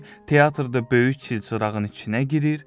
teatrda böyük çilçırağın içinə girir,